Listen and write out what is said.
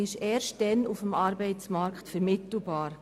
Erst dann sind sie auf dem Arbeitsmarkt vermittelbar.